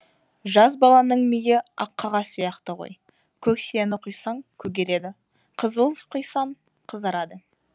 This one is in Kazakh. жас баланың миы ақ қағаз сияқты ғой көк сияны құйсаң көгереді қызыл құйсаң қызарады